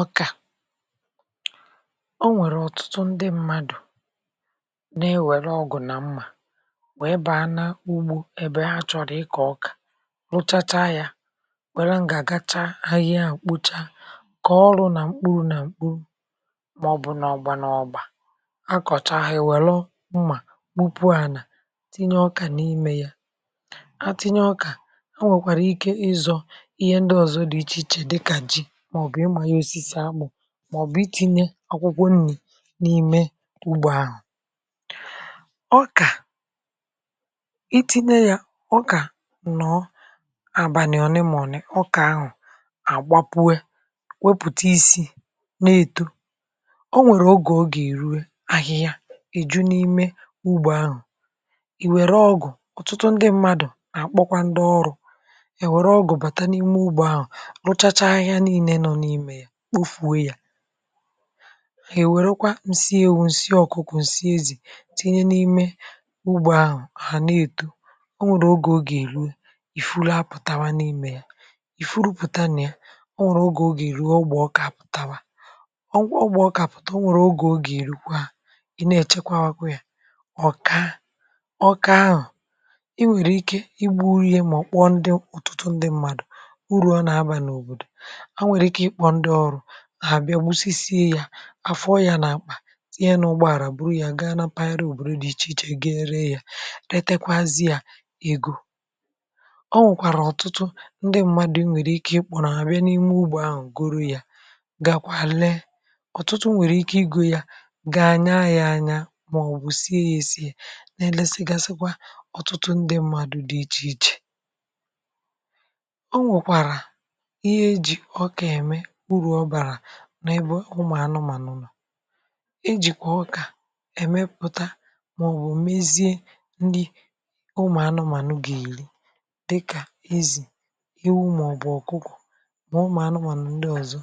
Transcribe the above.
ọkà o nwèrè ọ̀tụtụ ndị mmadụ̀ na-ewère ọgụ̀ nà mmà nwèe bàa n’ugbȯ ebe ha chọ̀rọ̀ ịkọ̀ ọkà rụchacha yȧ wère ngà gachaa ahịa mkpocha kòọrụ nà mkpuru nà mkpuru maọ̀bụ̀ nà ọgbȧ nà ọgbȧ a kọ̀cha ha iwèru mmà kupu ànà tinye ọkà n’ime yȧ a tinye ọkà a nwèkwàrà ike ịzọ̇ ihe ndị ọ̀zọ dị ichè ichè dịkà ji màọbụ̀ itinye akwụkwọ nni̇ n’ime ugbȯ ahụ̀ ọkà itinye ya ọkà nọ̀ àbànị̀ ọ nemọ̀ne, ọkà ahụ̀ àgbapuė wepụ̀ta isi̇ na-èto ọ nwèrè ogè o ga èrue ahịhịa èju n’ime ugbȯ ahụ̀ ì wère ọgụ̀ ọ̀tụtụ ndị mmadụ̀ nà-àkpọkwa ndị ọrụ̇ è wère ọgụ̀ bàta n’ime ugbȯ ahụ̀ ruchacha ahihia niine no n'ime ya kpofuo ya nwèrè kwa ǹsị ewu̇ ǹsị ọ̀kụkụ̀ ǹsị ezì tinye n’ime ugbò ahụ̀ hà na-èto o nwèrè ogè ogè ruo ìfuru apụ̀tawa n’imė ya ìfuru pụ̀ta na ya o nwèrè ogè o ga erue ọgbọ̀ ọkà apụ̀tawa ọgbọ̀ ọkà apụ̀ta o nwèrè ogè oga erukwa i na echekwa wakwa ya ọkàa, ọkàa ahu, i nwèrè ike ịgburu ye màọbu kpọọ otụtụ ndị mmadụ̀ uru ọ nà-abà n’òbòdò ha nwere ike ikpọ ndi oru hà-àbịa gbusisiė yȧ afuọ yȧ nà-àkpà tinye ya n’ụgbọàlà bụrụ yȧ gaa na paghara òbòdo dị ichè ichè gaa ree yȧ rètekwazịa ego o nwèkwàrà ọ̀tụtụ ndị mmadụ̀ i nwèrè ike ịkpọ̀ ha àbịa n’ime ugbȯ ahụ̀ goro yȧ gakwȧ lee ọ̀tụtụ nwèrè ike igȯ yȧ gaa nyaa anya màọ̀bụ̀ sie yȧ èsie nà-elėsigàsịkwa ọ̀tụtụ ndị mmadụ̇ dị ichè ichè o nwèkwàrà ihe eji̇ ọkà ème uru obara n’ebe ụmụ̀ anụmànụ̀ nọ̀ ejìkwà ọkà èmepụ̀ta màọbụ̀ mezie nnị ụmụ̀ anụmànụ̀ gà-èli dịkà ezì, ewu̇ màọbụ̀ ọ̀kụko ma ụmụ̀ anụmànụ̀ ndị ọ̀zọ